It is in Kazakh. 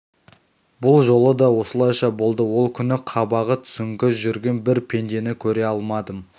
бұл жолы да осылайша болды ол күні қабағы түсіңкі жүрген бір пендені көре алмадым